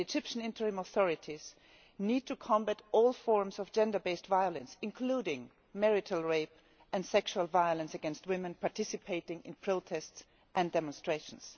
The Egyptian interim authorities must combat all forms of gender based violence, including marital rape and sexual violence against women participating in protests and demonstrations.